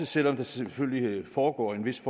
selv om der selvfølgelig foregår en vis